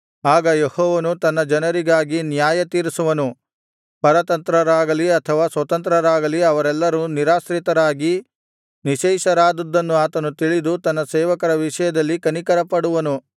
ಆಗ ಯೆಹೋವನು ತನ್ನ ಜನರಿಗಾಗಿ ನ್ಯಾಯತೀರಿಸುವನು ಪರತಂತ್ರರಾಗಲಿ ಅಥವಾ ಸ್ವತಂತ್ರರಾಗಲಿ ಅವರೆಲ್ಲರೂ ನಿರಾಶ್ರಿತರಾಗಿ ನಿಶ್ಶೇಷರಾದುದ್ದನ್ನು ಆತನು ತಿಳಿದು ತನ್ನ ಸೇವಕರ ವಿಷಯದಲ್ಲಿ ಕನಿಕರಪಡುವನು